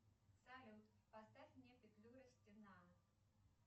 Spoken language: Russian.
салют поставь мне петлюра стена